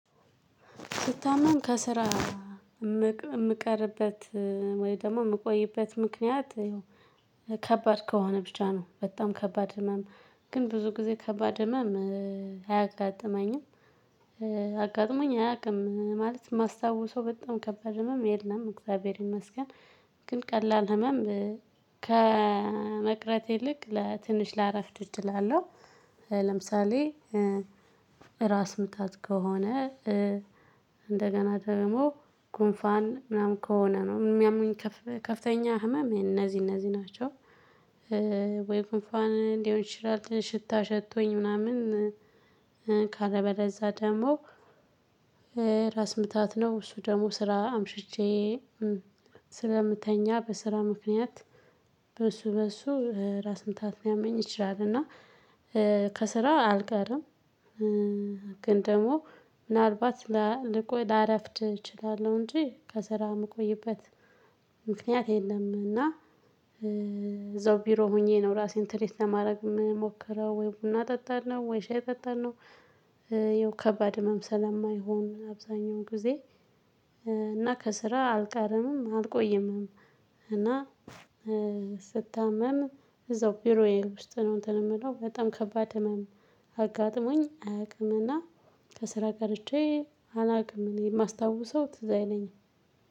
ብታመም ከስራ ምቀርበት ወይ ደግሞ ምቆይበት ምክንያት ከባድ ከሆነ ብቻ ነው በጣም ከባድ ህመም። ግን ብዙ ጊዜ ከባድ ህመም አያጋጥመኝም። አጋጥሞኝ አያውቅም ማለት ማስታወሰው በጣም ከባድ ነው የለም እግዚአብሔር ይመስገን። ግን ቀላል ህመም ከመቅረቴ ይልቅ ለትንሽ ላረፍድ እችላለው። ለምሳሌ ራስ ምታት ከሆነ እንደገና ደግሞ ጉንፋን ምናምን ከሆነ ነው ሚያሙኝ ከፍተኛ ህመም እነዚህ እነዚህ ናቸው። ወይ ጉንፋን ሊሆን ይችላል ሽታ ሸቶኝ ምናምን። ካለበለዛ ደግሞ ራስ ምታት ነው እሱ ደግሞ ስራ አምሽቼ ስለምተኛ በስራ ምክንያት በሱ በሱ ራስ ምታት ሊያመኝ ይችላል። እና ከስራ አልቀርም። ግን ደግሞ ምናልባት ላልቆ ላረፍድ እችላለሁ እንጂ ከስራ ምቆይበት ምክንያት የለም። እና እዛው ቢሮ ሆኜ ነው ራሴን ትሪት ለማድረግ ምሞክረው ወይ ቡና እጠጣለው ነው ወይ ሻይ እጠጣለው። ይኸው ከባድ ህመም ስለማይሆን አብዛኛውን ጊዜ እና ከስራ አልቀርምም አልቆይምም። እና ስታመም እዛው ቢሮዬ ውስጥ ነው እንትን ምለው በጣም ከባድ ህመም። አጋጥሞኝ አያቅምና ከስራ ቀርቼ አላቅም የማስታውሰው ትዝ አይለኝም።